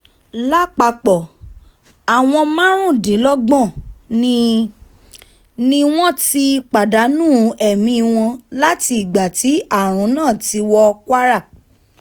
lápapọ̀ àwọn márùndínlọ́gbọ̀n ni ni wọ́n ti pàdánù ẹ̀mí wọn láti ìgbà tí àrùn náà ti wọ kwara